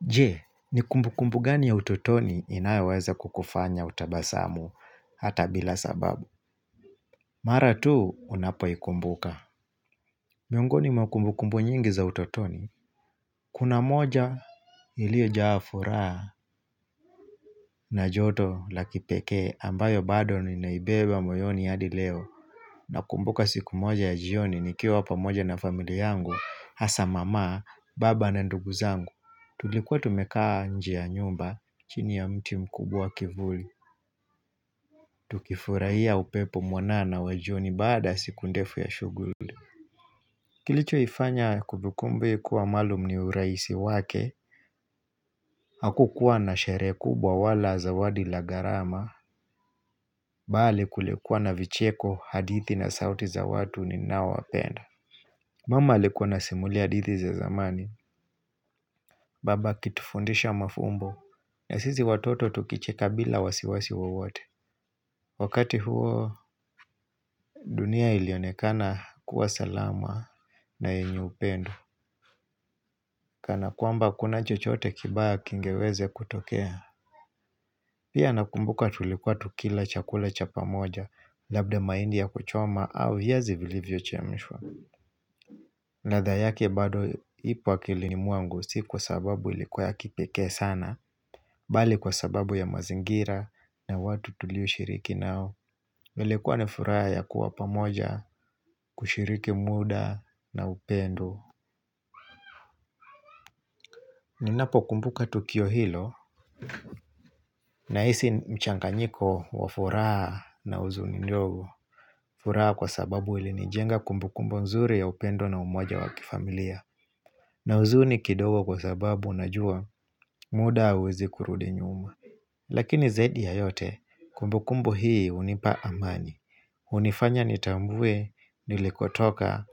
Je, ni kumbukumbu gani ya utotoni inayoweza kukufanya utabasamu hata bila sababu. Mara tu, unapo ikumbuka. Miongoni makumbukumbu nyingi za utotoni. Kuna moja iliyo jaa furaha na joto la kipekee ambayo bado ninaibeba moyoni hadi leo. Nakumbuka siku moja ya jioni nikiwa pamoja na familia yangu, hasa mama, baba na ndugu zangu. Tulikuwa tumekaa nje nyumba, chini ya mti mkubwa wa kivuli Tukifurahia upepo mwanana wa jioni baada ya siku ndefu ya shughuli Kilicho ifanya kumbikumbi kuwa maalum ni urahisi wake Hakukuwa na sherehe kubwa wala zawadi la gharama Bali kulikuwa na vicheko, hadithi na sauti za watu ninaowapenda Mama alikuwa anasimulia hadithi za zamani Baba akitufundisha mafumbo na sisi watoto tukicheka bila wasiwasi wowote Wakati huo dunia ilionekana kuwa salama na yenye upendo Kana kwamba hakuna chochote kibaya kingeweza kutokea Pia nakumbuka tulikuwa tukila chakula cha pamoja Labda mahindi ya kuchoma au viazi vilivyo chemshwa ladha yake bado ipo akilini mwangu si kwa sababu ilikuwa ya kipeke sana Bali kwa sababu ya mazingira na watu tulioshiriki nao nilikua ni furaha ya kuwa pamoja kushiriki muda na upendo Ninapokumbuka tukio hilo nahisi mchanganyiko wa furaha na huzuni ndogo furaha kwa sababu ilinijenga kumbukumbu nzuri ya upendo na umoja wa kifamilia na huzuni kidogo kwa sababu unajua muda hauwezi kurudi nyuma Lakini zaidi ya yote kumbukumbu hii hunipa amani hunifanya nitambue nilikotoka,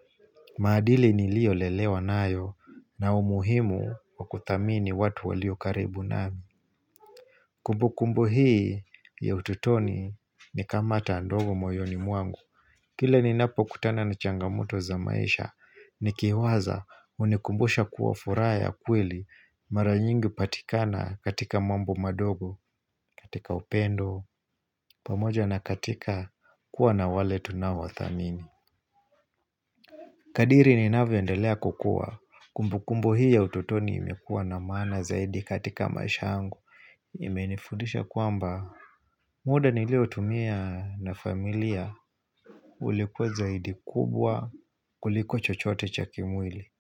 maadili niliolelewa nayo, na umuhimu wakuthamini watu walio karibu nami. Kumbu kumbu hii ya utotoni ni kama taa ndogo moyoni mwangu. Kila ninapokutana na changamoto za maisha, nikiwaza, hunikumbusha kuwa furaha ya kweli mara nyingi hupatikana katika mambo madogo, katika upendo, pamoja na katika kuwa na wale tunaothamini. Kadiri ninavyo endelea kukua. Kumbukumbu hii ya ututoni imekua na maana zaidi katika maisha yangu. Imenifundisha kwamba muda niliotumia na familia ulikuwa zaidi kubwa kuliko chochote cha kimwili.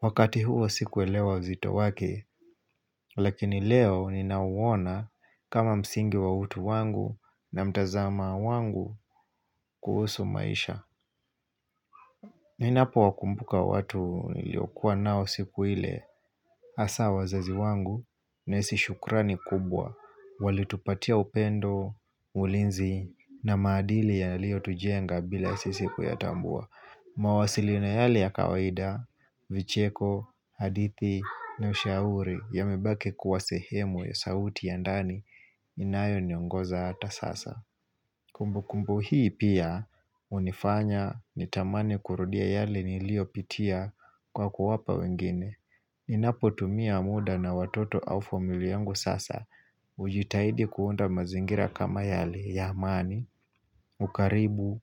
Wakati huo sikuelewa uzito wake, lakini leo ninauona kama msingi wa utu wangu na mtazama wangu kuhusu maisha. Ninapowakumbuka watu niliokuwa nao siku ile hasa wazazi wangu, nahisi shukrani kubwa Walitupatia upendo, ulinzi na maadili yaliyotujenga bila sisi kuyatambua. Mawasiliano yale ya kawaida, vicheko, hadithi na ushauri yamebaki kuwa sehemu ya sauti ya ndani inayoniongoza hata sasa Kumbukumbu hii pia hunifanya nitamani kurudia yale niliyopitia kwa kuwapa wengine. Ninapotumia muda na watoto au famila yangu sasa. Kujitahidi kuunda mazingira kama yale ya amani, ukarimu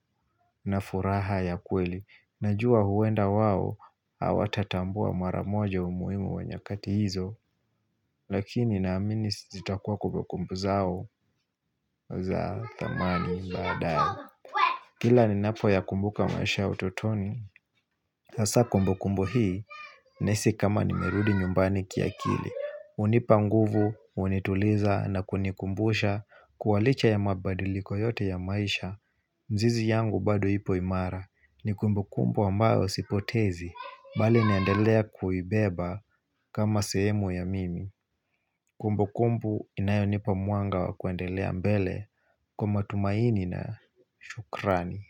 na furaha ya kweli. Najua huenda wao hawatatambua mara moja umuhimu wa nyakati hizo. Lakini naamini zitakuwa kumbukumbu zao za thamani baadaye. Kila ninapoyakumbuka maisha ya utotoni Sasa kumbukumbu hii Nahisi kama nimerudi nyumbani kiakili. Hunipa nguvu, hunituliza na kunikumbusha kua licha ya mabadiliko yote ya maisha mizizi yangu bado ipo imara. Ni kumbukumbu ambayo sipotezi, bali naendelea kuibeba kama sehemu ya mimi Kumbukumbu inayonipa mwanga wa kuendelea mbele kwa matumaini na shukrani.